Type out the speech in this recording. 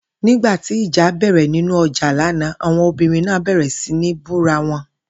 Nígbà tí ìjà bè̩rè̩ nínú o̩jà lánàá, awon obìnrin náà bè̩rè̩ sí ní bú ara wo̩n